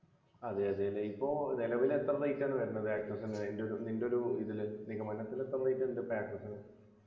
അതെ അതെല്ലേ ഇപ്പോ നിലവിൽ എത്ര rate ആണ് വരുന്നത് access നു ൻ്റെ നിൻ്റെ ഒരു ഇതിൽ നിഗമനത്തില് എത്ര rate ണ്ട് ഇപ്പൊ access നു